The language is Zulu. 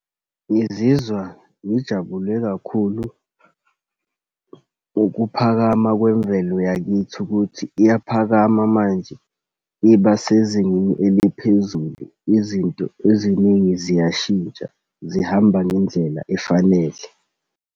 Ngizizwa ngijabule kakhulu ukuphakama kwemvelo yakithi ukuthi iyaphakama manje iba sezingeni eliphezulu. Izinto eziningi ziyashintsha, zihamba ngendlela efanele.